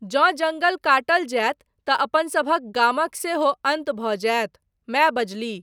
जँ जङ्गल काटल जायत तँ अपनसभक गामक सेहो अन्त भऽ जायत, माय बजलीह।